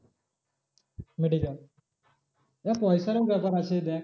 Medical এবার পয়সারও ব্যাপার আছে দেখ medical